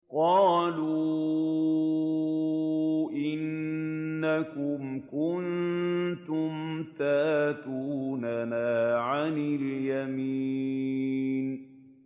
قَالُوا إِنَّكُمْ كُنتُمْ تَأْتُونَنَا عَنِ الْيَمِينِ